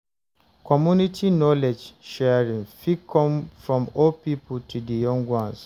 Community knowledge sharing fit come from old pipo to di young ones